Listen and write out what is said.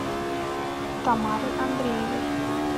тамарой андреевой